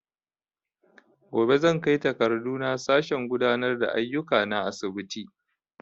Gobe zan kai takardu na sashen gudanar da aiyuka na asibitin